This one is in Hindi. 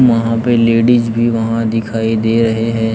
वहां पे लेडिस भी वहां दिखाई दे रहे हैं।